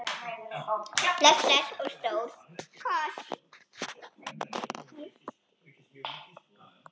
Bless bless og stór koss.